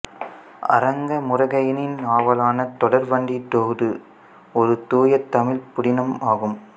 அரங்க முருகையனின் நாவலான தொடர்வண்டித் தூது ஒரு தூயதமிழ் புதினம் ஆகும்